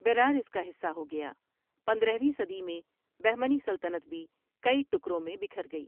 بیرار اس کا حصہ ہو گیا پندرہ ویں صدی میں بہمنی سلطنت بھی کئی ٹکروں میں بکھر گئی ۔